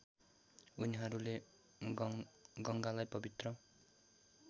उनीहरूले गङ्गालाई पवित्र